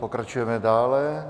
Pokračujeme dále.